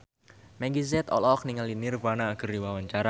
Meggie Z olohok ningali Nirvana keur diwawancara